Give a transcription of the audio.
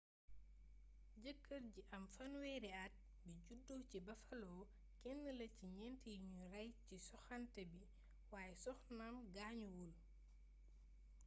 jëkër ji am fanweeri at bi judo ci buffalo kenn la ci ñént yi nu ray ci soxanté bi wayé soxnaam gaañuwul